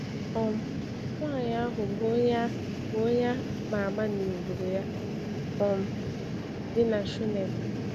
um Nwaanyị ahụ bụ onye a bụ onye a ma ama n’obodo ya um dị na Shunem.